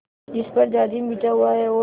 जिस पर जाजिम बिछा हुआ है और